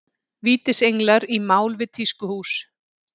Vítisenglar í mál við tískuhús